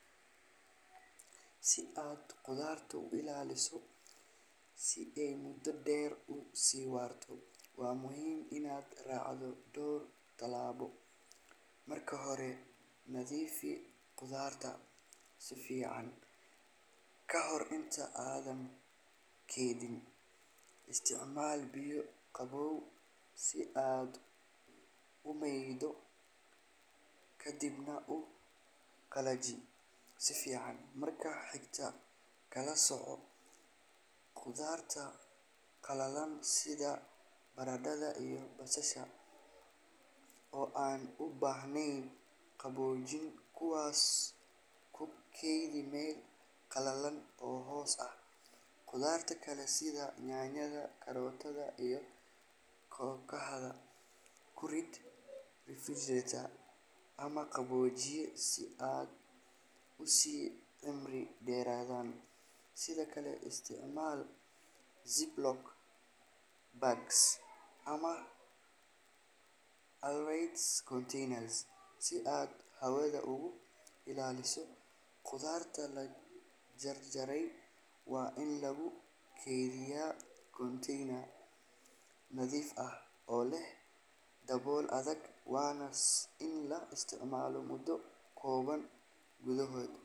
Si aad khudaarta u ilaaliso si ay muddo dheer u sii waarto, waa muhiim inaad raacdo dhowr tallaabo. Marka hore, nadiifi khudaarta si fiican ka hor inta aadan keydin. Isticmaal biyo qabow si aad u maydho, ka dibna u qalaji si fiican. Marka xigta, kala sooc khudaarta qallalan sida baradhada iyo basalaha oo aan u baahnayn qaboojin, kuwaas ku kaydi meel qalalan oo hoos ah. Khudaarta kale sida yaanyada, karootada, iyo kookaha ku rid refrigerator ama qaboojiye si ay u sii cimri dheeraadaan. Sidoo kale, isticmaal zip-lock bags ama airtight containers si aad hawada uga ilaaliso. Khudaarta la jarjaray waa in lagu kaydiyaa container nadiif ah oo leh dabool adag, waana in la isticmaalo muddo kooban gudahood.